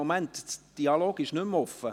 Der Dialog ist nicht mehr offen.